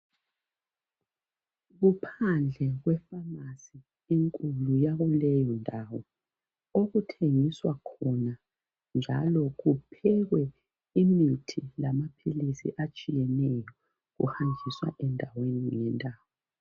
Kuphandle kwefamasi enkulu yakuleyo ndawo okuthengiswa khona njalo kuphekwe imithi lamaphilisi atshiyeneyo ahanjiswa endaweni ngendawo.